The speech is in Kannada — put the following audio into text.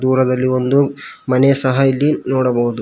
ಹೊಲದಲ್ಲಿ ಒಂದು ಮನೆ ಸಹ ಇದೆ ನೋಡಬಹುದು.